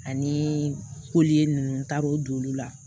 Ani ninnu n taara o don olu la